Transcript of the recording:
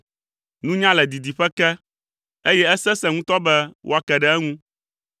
Nunya le didiƒe ke eye esesẽ ŋutɔ be woake ɖe eŋu.